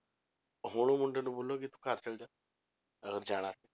ਹੁਣ ਉਹ ਮੁੰਡੇ ਨੂੰ ਬੋਲੋਗੇ ਤੂੰ ਘਰ ਚਲੇ ਜਾ ਅਗਰ ਜਾਣਾ ਹੈ,